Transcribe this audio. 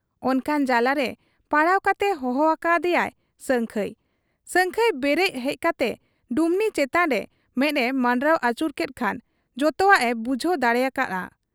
ᱚᱱᱠᱟᱱ ᱡᱟᱞᱟᱨᱮ ᱯᱟᱲᱟᱣ ᱠᱟᱛᱮ ᱦᱚᱦᱚ ᱟᱠᱟ ᱟᱫᱮᱭᱟᱭ ᱥᱟᱹᱝᱠᱷᱟᱹᱭ ᱾ ᱥᱟᱹᱝᱠᱷᱟᱹᱭ ᱵᱮᱨᱮᱫ ᱦᱮᱡ ᱠᱟᱛᱮ ᱰᱩᱢᱱᱤ ᱪᱮᱛᱟᱱ ᱨᱮ ᱢᱮᱫ ᱮ ᱢᱟᱸᱰᱨᱟᱣ ᱟᱹᱪᱩᱨ ᱠᱮᱫ ᱠᱷᱟᱱ ᱡᱛᱚᱣᱟᱜ ᱮ ᱵᱩᱡᱷᱟᱹᱣ ᱫᱟᱲᱮᱭᱟᱠᱟ ᱦᱟᱫ ᱟ ᱾